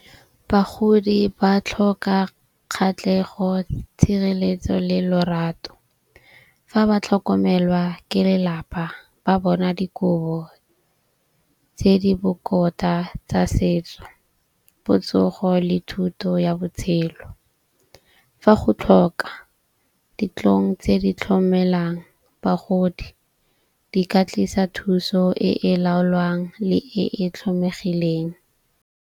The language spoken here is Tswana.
Bagodi ba tlhoka kgatlhego, tshireletso le lorato. Fa ba tlhokomelwa ke lelapa ba bona dikobo tse di bokoa tsa setso, botsogo le thuto ya botshelo. Fa go tlhoka dintlong tse di tlhomelang bagodi di ka tlisa thuso e e laolwang le e e tlhomegileng .